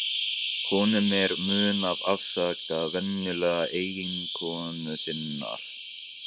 Honum er í mun að afsaka vinnugleði eiginkonu sinnar.